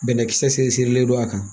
Bɛnɛkisɛ seri sirilen don a kan